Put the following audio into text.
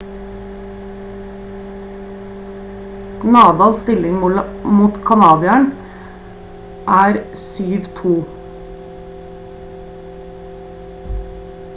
nadal stilling mot kanadieren er 7-2